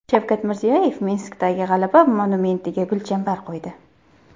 Shavkat Mirziyoyev Minskdagi G‘alaba monumentiga gulchambar qo‘ydi.